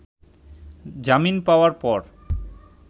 জামিন পাওযার পর